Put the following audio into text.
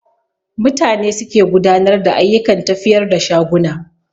Mutane suke gudanar da ayyukan tafiyar da shaguna